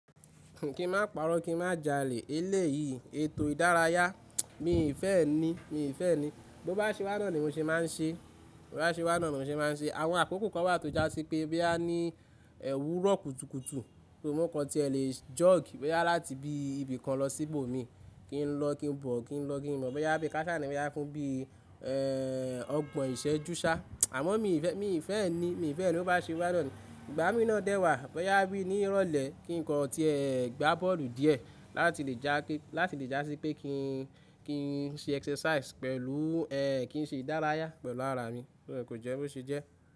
Kí n má paro, kí n má jalè, eléyìí ètò ìdárayá, mi ì fẹ́ ẹ ní, mi ì fẹ́ ẹ ní. Bí ó bá ṣe wá náà ni mò ń ṣe máa ń ṣe, bí ó bá ṣe wá náà ni mò ń ṣe máa ń ṣe. Àwọn àkókò kan wà tó jásí pé báyá ní èwúrọ̀ kùtùkùtù, bí mo kan ti ẹ lè jog báyá láti bí ibìkan lọ síbò mi. Kí n lọ kí n bọ̀, kí n lọ kí n bọ̀, báyá bí káṣá ni, báyá fún bí, ẹ́, ọgbọ̀n ìṣẹ́jú sá. Àmọ́ mi ì fẹ́, mi ì fẹ́ ẹ ní, mi ì fẹ́ ẹ ní ó bá ṣe wá náà ní. Ìgbà mí ná dẹ́ wà, báyá bí ní ìrọ̀lẹ́ kí n kan ti ẹ gbá bọ́ọ̀lù díẹ̀, láti lè já pé, láti lè já sí pé kí n, kí n ṣe exercise pẹ̀lú, ẹ́, kí n ṣe ìdárayá pẹ̀lú ara mi. Ẹ̀, kò jẹ́ kó ṣe jẹ́.